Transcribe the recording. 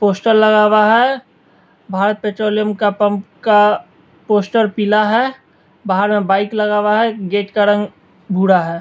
Poster लगा हुआ है भारत पेट्रोलियम का पंप का पोस्टर पीला है बाहर में बाइक लगा हुआ है गेट का रंग भूरा है।